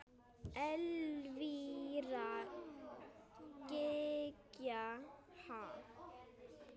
Elvíra Gýgja: Ha?